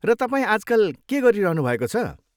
र तपाईँ आजकल के गरिरहनु भएको छ?